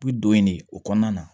U bi don yen de o kɔnɔna na